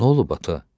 Nə olub ata?